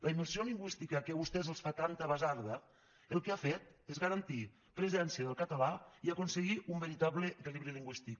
la immersió lingüística que a vostès els fa tanta basarda el que ha fet és garantir presència del català i aconseguir un veritable equilibri lingüístic